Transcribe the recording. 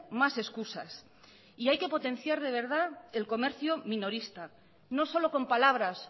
más excusas y hay que potenciar de verdad el comercio minorista no solo con palabras